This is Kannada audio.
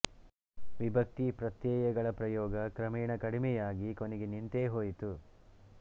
ವಿಭಕ್ತಿ ಪ್ರತ್ಯಯಗಳ ಪ್ರಯೋಗ ಕ್ರಮೇಣ ಕಡಿಮೆಯಾಗಿ ಕೊನೆಗೆ ನಿಂತೇ ಹೋಯಿತು